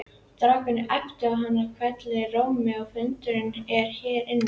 Strákar æpti hann hvellum rómi, fundurinn er hér inni